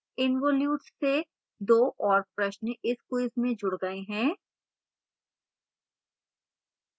involutes से 2 और प्रश्न इस quiz में जुड़ गए हैं